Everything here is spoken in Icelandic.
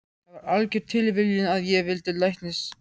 Það var algjör tilviljun að ég valdi læknisfræði.